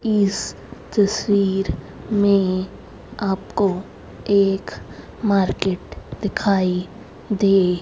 इस तस्वीर में आप को एक मार्केट दिखाई दे--